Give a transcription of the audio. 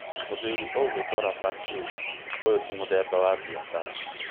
Mũthuri ũgũĩtwo Raba akiuga: " ũyũ ti mũthemba wa biacara.